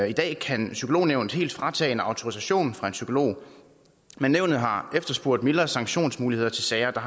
i dag kan psykolognævnet helt fratage en autorisation fra en psykolog men nævnet har efterspurgt mildere sanktionsmuligheder til sager der